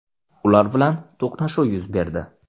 Ular bilan to‘qnashuv yuz berdi.